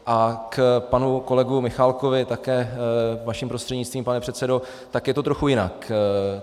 A k panu kolegovi Michálkovi také vaším prostřednictvím, pane předsedo, tak je to trochu jinak.